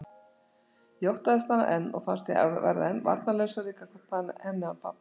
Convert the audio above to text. Ég óttaðist hana enn og fannst ég verða enn varnarlausari gagnvart henni án pabba.